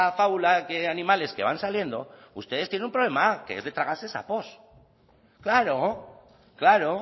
fábula de animales que van saliendo ustedes tienen un problema que es de tragarse sapos claro claro